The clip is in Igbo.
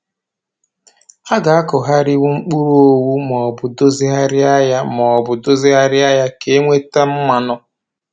A ga-akụgharịnwu mkpụrụ owu maobụ dozigharịa ya maobụ dozigharịa ya ka e wee nweta mmanụ